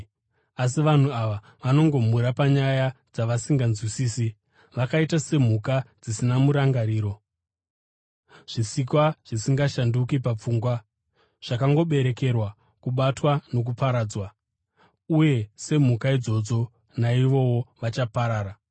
Asi vanhu ava vanongomhura panyaya dzavasinganzwisisi. Vakaita semhuka dzisina murangariro, zvisikwa zvisingashanduki papfungwa, zvakangoberekerwa kubatwa nokuparadzwa, uye semhuka idzodzo naivowo vachaparara.